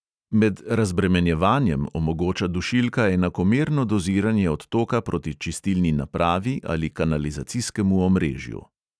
Med razbremenjevanjem omogoča dušilka enakomerno doziranje odtoka proti čistilni napravi ali kanalizacijskemu omrežju.